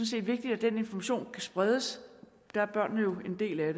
set vigtigt at den information kan spredes og der er børnene jo en del af